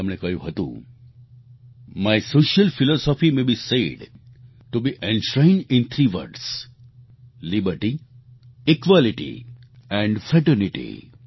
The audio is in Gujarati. તેમણે કહ્યું હતું my social philosophy may be said to be enshrined in three words liberty equality and fraternity